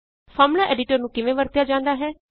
formula editor ਨੂੰ ਕਿਵੇਂ ਵਰਤਿਆ ਜਾਂਦਾ ਹੈ